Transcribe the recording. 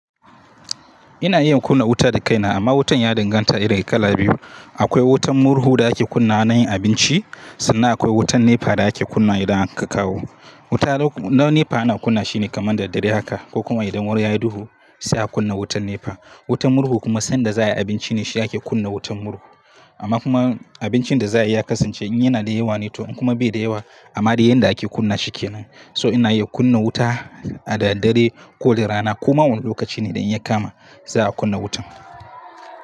Ina iya kunna wuta da kaina amma wutan ya dinga ta iri kala biyu. Akwai wutan murhu da ake kunna na yin abinci sannan akwai wutan nepa da ake kunna idan ka kawo. Wuta na nepa ana kunna shine kamar dare haka ko kuma idan wuri ya yi duhu sai a kunna wutan nepa. Wutan murhu kuma sanda za a yi abinci ne shi ake kunna wutan murhu. Amma kuma abincin da za a yi ya kasance in yana da yawa ne to in kuma bai da yawa amma dai yanda ake kunna shi kenan. So ina iya kunna wuta a daddare ko da rana koma wane lokaci ne idan ya kama za a kunna wutan.